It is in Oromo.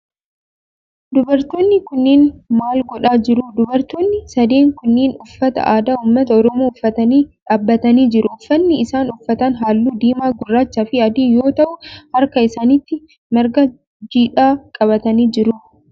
Dubartoonni kunneen maal godhaa jiruu? Dubartoonni sadeen kunneen uffata aadaa ummata oromoo uffatanii dhaabbatanii jiru. Uffanni isaan uffatan halluu diimaa, gurraachaa fi adii yoo ta'u harka isaanitti marga jiidhaa qabatanii jiru.